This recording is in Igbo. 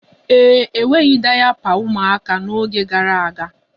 E nweghị dayapa ụmụaka n'oge gara aga.